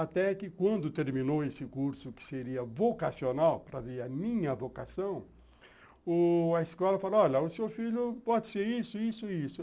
Até que quando terminou esse curso, que seria vocacional, para ver a minha vocação, u a escola falou, olha, o seu filho pode ser isso, isso e isso.